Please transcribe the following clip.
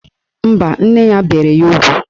Mba, nne ya bere ya ugwu